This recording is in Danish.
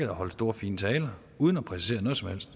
holdt store fine taler uden at præcisere noget som helst